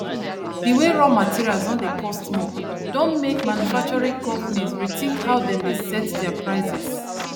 di way raw materials don dey cost more don make manufacturing companies rethink how dem dey set their prices